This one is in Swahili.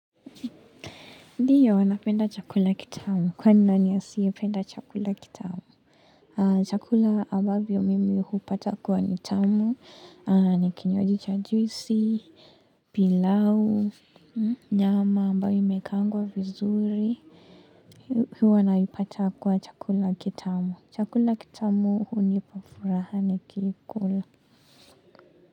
Ndiyo wana penda chakula kitamu. Kwa nani ya siye penda chakula kitamu? Chakula ambavyo mimi hupata kuwa nitamu, nikinywji cha juisi, pilau, nyama ambayo imekangwa vizuri. Huwanaipata kuwa chakula kitamu. Chakula kitamu hunipafuraha nikikula.